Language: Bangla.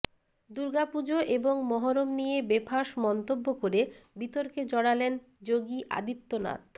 দুর্গাপুজো এবং মহরম নিয়ে বেঁফাস মন্তব্য করে বিতর্কে জড়ালেন যোগী আদিত্যনাথ